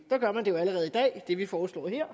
der gør man jo allerede det vi foreslår her